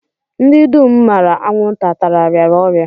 Ndị dum m maara anwụnta tara rịara ọrịa